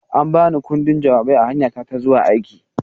An ba ni ƙundin jawabai a hanyata ta zuwa aiki.